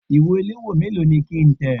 Ìwé ìléwọ́ méèló ni kí ń tẹ̀?